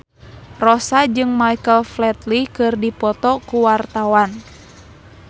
Rossa jeung Michael Flatley keur dipoto ku wartawan